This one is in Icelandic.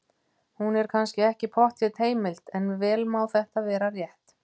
Hún er kannski ekki pottþétt heimild, en vel má þetta vera rétt.